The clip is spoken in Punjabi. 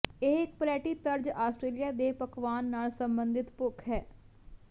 ਇਹ ਇੱਕ ਪਰੈਟੀ ਤਰਜ ਆਸਟਰੇਲੀਆ ਦੇ ਪਕਵਾਨ ਨਾਲ ਸਬੰਧਤ ਭੁੱਖ ਹੈ